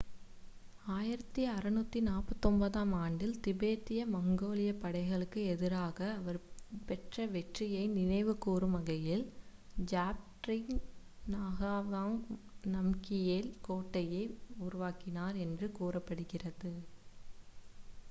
1649-ஆம் ஆண்டில் திபெத்திய-மங்கோலியப் படைகளுக்கு எதிராக அவர் பெற்ற வெற்றியை நினைவுகூரும் வகையில் ஜாப்ட்ருங் நகாவாங் நம்கியேல் கோட்டையை உருவாக்கினார் என்று கூறப்படுகிறது